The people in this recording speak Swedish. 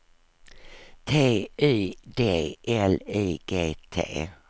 T Y D L I G T